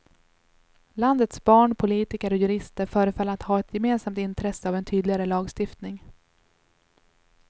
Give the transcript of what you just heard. Landets barn, politiker och jurister förefaller att ha ett gemensamt intresse av en tydligare lagstiftning.